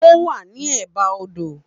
Ó wà ní è bá odò